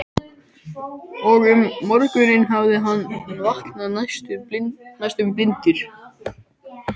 Og um morguninn hafði hann vaknað næstum blindur.